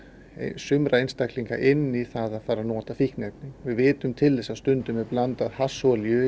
sumra einstaklinga inn í það að fara að nota fíkniefni við vitum til þess að stundum er blandað